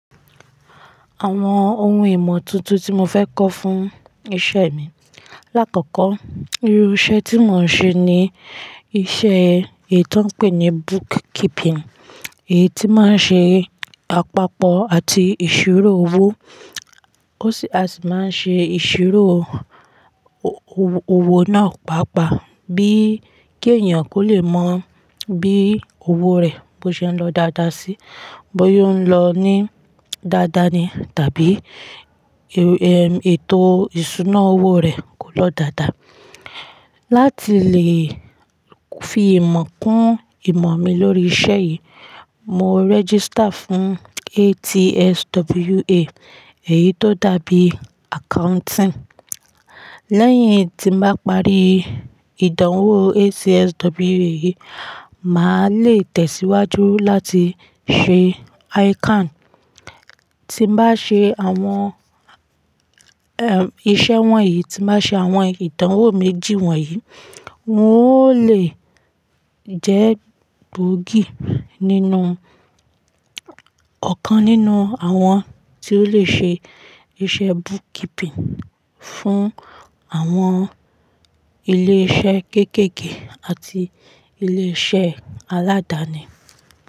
Àwọn ohun ìmọ̀ tuntun tí mo fẹ́ kọ́ fún iṣẹ́ mi. Láàkọ́kọ́, irú iṣẹ́ tí mò ń ṣe ni iṣẹ́ èyí tó ń pè ní book keeping. Èyí tí máa ń ṣe àpapọ̀ àti ìṣirò owó. Ó sì a sì máa ń ṣe ìṣirò o-o-owo náà pàápàá bí kí èèyàn kó lè mọ̀ bí owó rẹ̀ bó ṣe ń lọ dáadáa sí, bóyá ó ń lọ ní dáadáa ni tàbí, e-e, ètò ìṣúná owó rẹ̀ kò lọ dáadáa. Láti lè fi ìmọ̀ kún ìmọ̀ mi lórí iṣẹ́ yìí, mo register fún ATSWA. Èyí tó dàbí accounting. Lẹ́yìn tí mo bá parí ìdánwò ATSWA yìí, mà á le tẹ̀síwájú láti ṣe ICAN. Ti n bá ṣe àwọn, ehm, iṣẹ́ wọ̀nyí, tí bá ṣe àwọn ìdánwò méjì wọ̀nyí, n ó lè jẹ́ gboogì nínú ọ̀kan nínú àwọn tí ó le ṣe iṣẹ́ book keeping fún àwọn ilé iṣẹ́ kéékèèké àti ilé iṣẹ́ aládani.